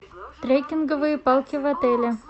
трекинговые палки в отеле